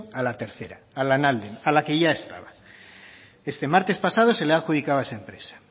a la tercera a lanalden a la que ya estaba este martes pasado se le ha adjudicado a esa empresa